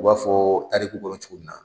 U b'a fɔ tariku kɔnɔ cogo min na.